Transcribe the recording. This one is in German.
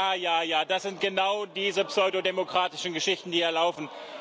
Ja, ja, ja, das sind genau diese pseudodemokratischen Geschichten, die hier laufen.